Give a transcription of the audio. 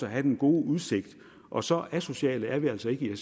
at have den gode udsigt og så asociale er vi altså ikke